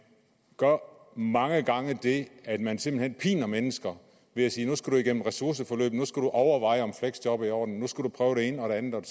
gør mange gange det at man simpelt hen piner mennesker ved at sige nu skal du igennem ressourceforløb nu skal du overveje om fleksjob er i orden nu skal du prøve det ene og det andet og